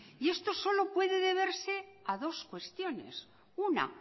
y esto solo puede deberse a dos cuestiones una